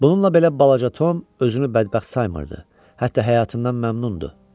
Bununla belə balaca Tom özünü bədbəxt saymırdı, hətta həyatından məmnundu.